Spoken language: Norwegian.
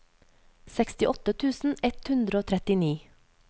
sekstiåtte tusen ett hundre og trettini